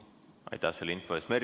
Aitäh selle info eest!